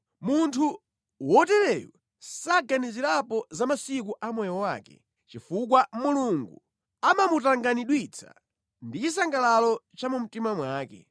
Munthu wotereyu saganizirapo za masiku a moyo wake, chifukwa Mulungu amamutanganidwitsa ndi chisangalalo cha mu mtima mwake.